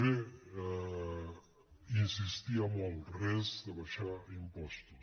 bé insistir en el res d’abaixar impostos